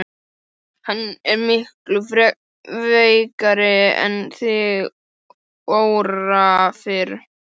Hann er miklu veikari en þig órar fyrir.